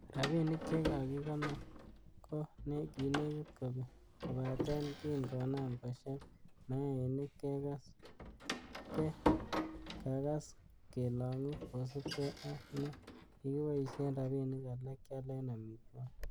Rabinik che kikakikonor ko kinekit kobek, kobaten kin konam kosheb mayainik, ke kagas kelongu kosiibge ak ne kikiboishen rabinik alak kialen amitwogik.